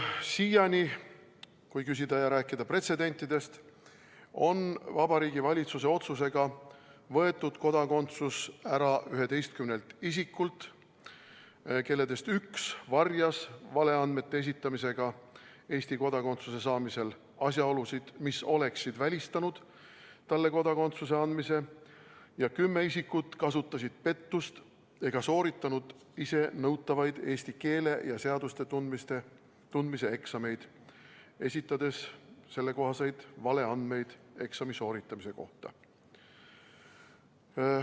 Siiani, kui küsida ja rääkida pretsedentidest, on Vabariigi Valitsuse otsusega võetud kodakondsus ära 11 isikult, kelledest üks varjas valeandmete esitamisega Eesti kodakonduse saamisel asjaolusid, mis oleksid välistanud talle kodakondsuse andmise, ja kümme isikut kasutasid pettust ega sooritanud ise nõutavaid eesti keele ja seaduste tundmise eksameid, esitades valeandmeid eksami sooritamise kohta.